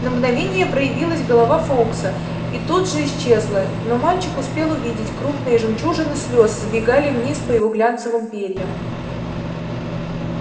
на мгновение проявилась голова фоукса и тут же исчезла но мальчик успел увидеть крупные жемчужины слёз сбегали вниз по его глянцевым перьям